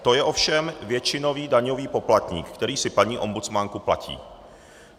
To je ovšem většinový daňový poplatník, který si paní ombudsmanku platí.